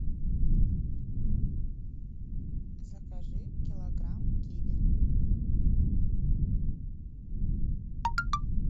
закажи килограмм киви